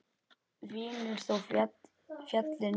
Vinur þó féllir frá.